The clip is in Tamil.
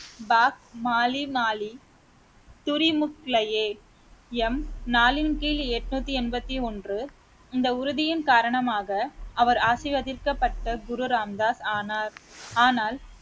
பாக் மாலி மாலி துறிமுக்ளையே எம் நாலின் கீழ் எண்ணூத்தி எண்பத்தி ஒன்று இந்த உறுதியின் காரணமாக அவர் ஆசீர்வதிக்கப்பட்ட குரு ராம் தாஸ் ஆனார் ஆனால்